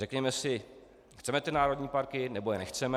Řekněme si - chceme ty národní parky, nebo je nechceme?